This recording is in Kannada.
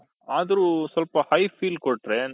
ಅದ್ರು ಸ್ವಲ್ಪ high feel ಕೊಟ್ರೆ